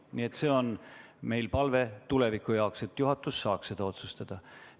Nii et see on meie palve tulevikuks, et juhatus saaks otsustada.